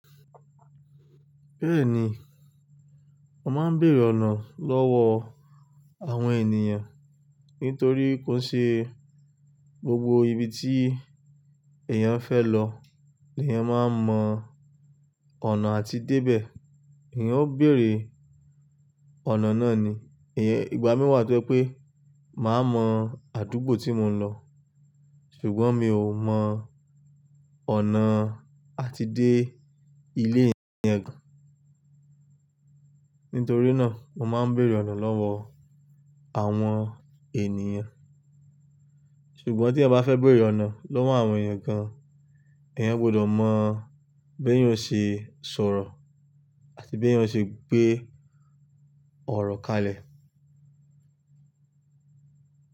Bẹ́ẹ̀ni, mo máa ń bèèrè ọ̀nà lọ́wọ́ àwọn ènìyàn nítorí kó ṣe gbogbo ibi tí èèyàn fẹ́ lọ ni èèyàn máa mọ ọ̀nà àti dé bẹ̀. Èèyàn ó bèèrè ọ̀nà náà ni. Ìgbà mìíràn tó pé ma mọ àdúgbò tí mò ń lọ, ṣùgbọ́n mi ò mọ ọ̀nà àti dé ilé ye kan. Nítorí náà, mo máa ń bèèrè ọ̀nà lọ́wọ́ àwọn ènìyàn. Ṣùgbọ́n tí ẹ bá fẹ́ bèèrè ọ̀nà lọ́wọ́ àwọn èèyàn gan, èèyàn gbọdọ̀ mọ bí èèyàn ṣe sọ̀rọ̀ àti bí èèyàn ṣe gbé ọ̀rọ̀ kalẹ̀